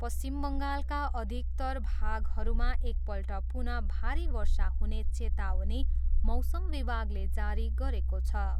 पश्चिम बङ्गालका अधिकतर भागहरूमा एकपल्ट पुनः भारी वर्षा हुने चेतावनी मौसम विभागले जारी गरेको छ।